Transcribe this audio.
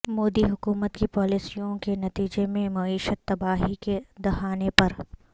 مودی حکومت کی پالیسیوں کے نتیجہ میں معیشت تباہی کے دہانے پر